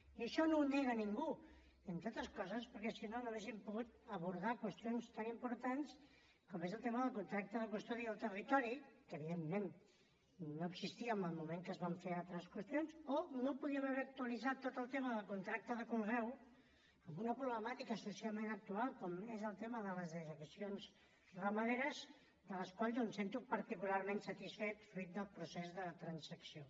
i això no ho nega ningú entre altres coses perquè si no no hauríem pogut abordar qüestions tan importants com és el tema del contracte de custodia del territori que evidentment no existia en el moment que es van fer altres qüestions o no podríem haver actualitzat tot el tema del contracte de conreu amb una problemàtica socialment actual com és el tema de les dejeccions ramaderes de les quals jo em sento particularment satisfet fruit del procés de transacció